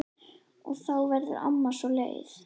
Og þá verður amma svo leið.